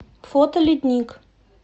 фото ледник